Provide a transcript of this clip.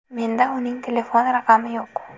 Menda uning telefon raqami yo‘q.